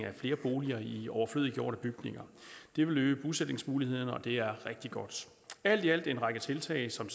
af flere boliger i overflødiggjorte bygninger det vil øge bosætningsmulighederne og det er rigtig godt alt i alt er det en række tiltag som